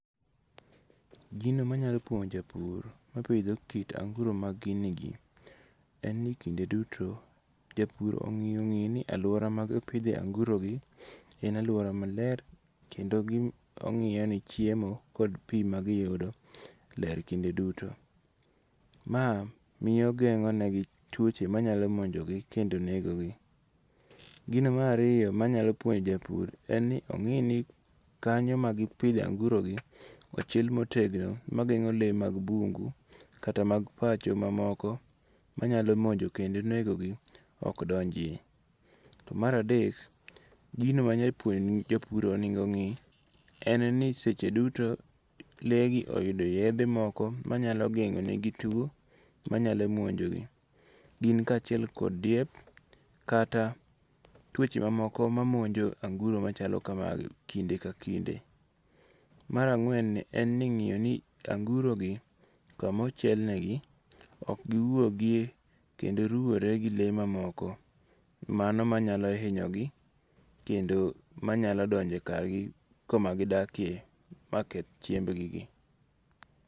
Gino manyalo puonjo japur mapitho kit anguro mag gini gie, en ni kinde duto japur ongi'ni aluora mag pithoe angu'rogi en aluora maler kendo ongiyoni chiemo kod pi magiyudo ler kinde duto, ma miyo gengo'negi tuoche manyalo monjogi kendo negogi. Gino marariyo manyalo puonjo japur en ni ongi'ni kanyo ma gipithoe angurogi ochiel motegno magengo' lee mag bungu kata mag pach mamoko manyalo monjo kendo negogi okdonjie, To maradek gino manyalo puonjo japuro onigo ongi' en ni seche duto legi oyud yethe moko manyalo gengo'negi tuo manyalo monjogi, gin kachiel kuom diek kata twoche mamoko mamonjo anguro machalo kamagi kinde ka kinde. Marangwen ni en ni ingiyoni angurogi kama ochielnegi ok giwuogi kendo ruore gi le mamoko mano manyalo hinyogi kendo manyalo donje e kargi kuma gidakie maketh chiembgigi.